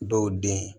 Dɔw den